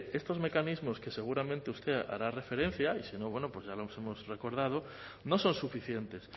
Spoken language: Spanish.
estos mecanismos que seguramente usted hará referencia y si no bueno pues ya le hemos recordado no son suficientes